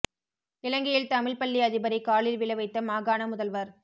இலங்கையில் தமிழ் பள்ளி அதிபரை காலில் விழவைத்த மாகாண முதல்வர்